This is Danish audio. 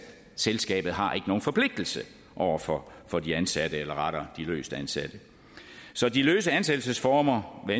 selskabet har ikke nogen forpligtelse over for for de ansatte eller rettere de løstansatte så de løse ansættelsesformer hvad